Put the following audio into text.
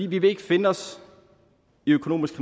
vi vil ikke finde os i økonomisk